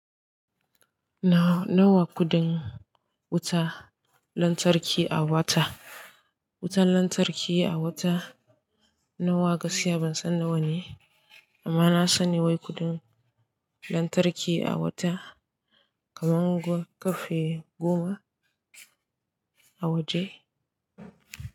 Nawa kuɗin wuta lantarki a wata? Wutan lantarki a wata nawa gaskiya ban san nawa ne amma na sani wai kuɗin lantarki a wata kaman ko karfe goma a waje.